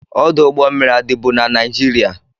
Ọdụ ụgbọ mmiri a dịbu na Naịjirịa?